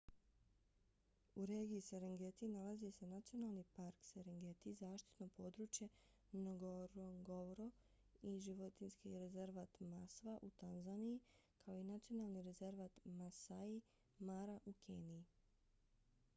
u regiji serengeti nalazi se nacionalni park serengeti zaštitno područje ngorongoro i životinjski rezervat maswa u tanzaniji kao i nacionalni rezervat maasai mara u keniji